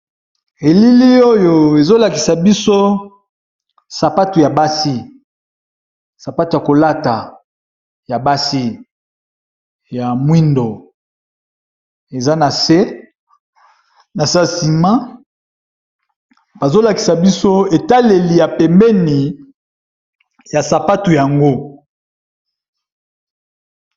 Elili oyo ezo lakisa biso sapatu ya basi, sapatu ya kolata ya basi ya mwindo eza na se na se ya nsima bazo lakisa biso etaleli ya pembeni ya sapatu yango.